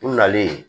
U nalen yen